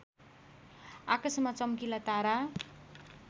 आकाशमा चम्किला तारा